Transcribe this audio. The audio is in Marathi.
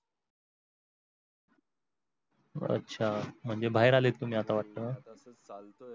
अच्छा म्हणजे बाहेर आले तुम्ही आता वाटतं चालतोय.